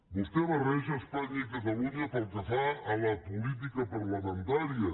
vostè barreja espanya i catalunya pel que fa a la política parlamentària